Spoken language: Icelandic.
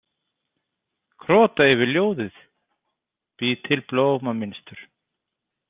Krota yfir ljóðið, bý til blómamynstur.